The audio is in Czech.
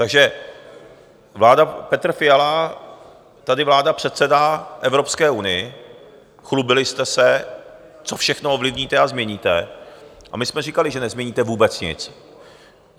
Takže vláda Petra Fialy, tady vláda předsedá Evropské unii, chlubili jste se, co všechno ovlivníte a změníte, a my jsme říkali, že nezměníte vůbec nic.